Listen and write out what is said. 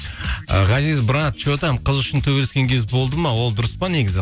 ғазиз брат что там қыз үшін төбелескен кез болды ма ол дұрыс па негізі